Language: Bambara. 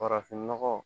Farafinnɔgɔ